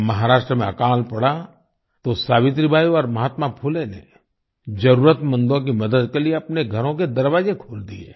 जब महाराष्ट्र में अकाल पड़ा तो सावित्रीबाई और महात्मा फुले ने जरुरतमंदों की मदद के लिए अपने घरों के दरवाजे खोल दिए